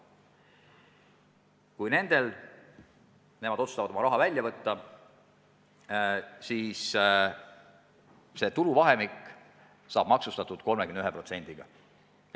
Kui nemad otsustavad oma raha välja võtta, siis see tuluvahemik saab maksustatud 31%-ga.